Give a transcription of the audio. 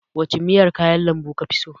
Wace miyar kayan lambu kafi so?